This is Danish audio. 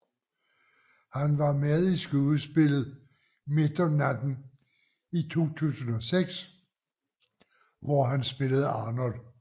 Han var med i skuespillet Midt om natten i 2006 hvor han spillede Arnold